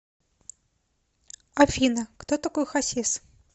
афина кто такой хасис